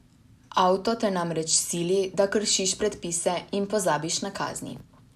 Avto te namreč sili, da kršiš predpise in pozabiš na kazni.